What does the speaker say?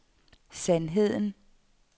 sandheden